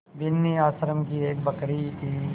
बिन्नी आश्रम की एक बकरी थी